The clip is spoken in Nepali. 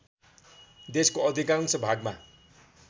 देशको अधिकांश भागमा